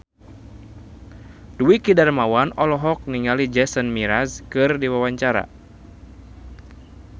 Dwiki Darmawan olohok ningali Jason Mraz keur diwawancara